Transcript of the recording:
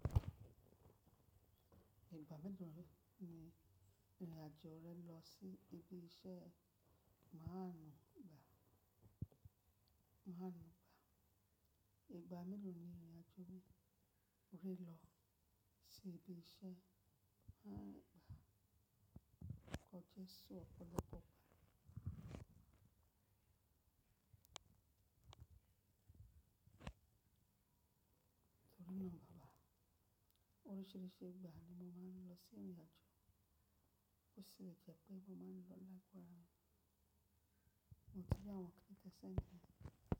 Ìgbà mélòó rin irin, i ìrìn àjò rẹ lọ sí ibi iṣẹ́ máa ń gba? Ìgbà mélòó ni ìrìn àjò mi mo fi n lọ sí ibi iṣẹ́ máa ń gba? Kọje sí ọ̀pọ̀lọpọ̀ ìgbà. Torí náà, báwo? Oríṣìíríṣìí ìgbà ni mo máa ń lọ sí ìrìn àjò. Bó si je pé, mo máa ń lọ Lapo ara mi mo ti ri awon nnkan te sendi.